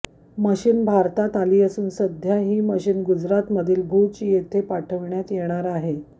machine भारतात आली असून सध्या ही मशीन गुजरातमधील भूज येथे पाठविण्यात येणार आहे